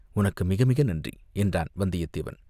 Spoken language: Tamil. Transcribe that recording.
உனக்கு மிக மிக நன்றி!" என்றான் வந்தியத்தேவன்.